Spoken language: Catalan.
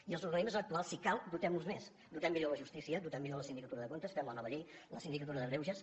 i els organismes actuals si cal dotem los més dotem millor la justícia dotem millor la sindicatura de comptes fem la nova llei la sindicatura de greuges